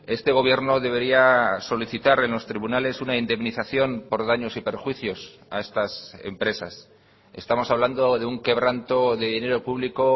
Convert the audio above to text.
este gobierno debería solicitar en los tribunales una indemnización por daños y perjuicios a estas empresas estamos hablando de un quebranto de dinero público